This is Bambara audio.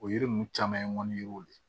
O yiri ninnu caman ye ŋɔniw de ye